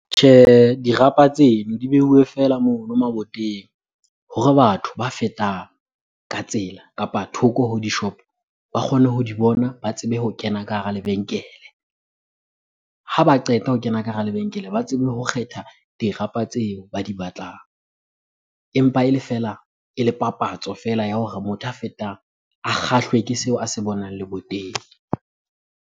Tjhehe, dirapa tseno di beuwe feela mono maboteng hore batho ba fetang ka tsela kapa thoko ho dishopo ba kgone ho di bona, ba tsebe ho kena ka hara lebenkele. Ha ba qeta ho kena ka hara lebenkele, ba tsebe ho kgetha dirapa tseo ba di batlang. Empa ele fela, e le papatso feela ya hore motho a fetang a kgahlwe ke seo a se bonang leboteng.